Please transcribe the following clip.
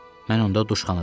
Mən onda duşxanada idim.